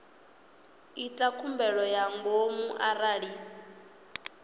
ita khumbelo ya ngomu arali